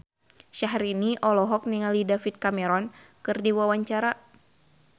Syahrini olohok ningali David Cameron keur diwawancara